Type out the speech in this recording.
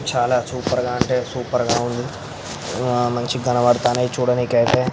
చాలా సూపర్ గా అంటే సూపర్ గా ఉంది. మంచిగ కనబడుతూనే చూడనికైతే.